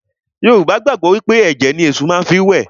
Yorùbá gbàgbọ́ wí pé ẹ̀jẹ̀ ni Èṣù má fi ń wẹ̀